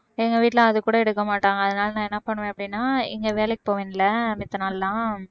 எங்க வீட்டுல அதுகூட எடுக்கமாட்டாங்க அதனால நான் என்ன பண்ணுவேன் அப்படீன்னா இங்க வேலைக்கு போவேன்ல மித்த நாளெல்லாம்